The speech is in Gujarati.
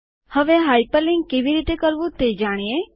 હવે હાઇપરલિન્ક કેવી રીતે કરવું તે જાણીએ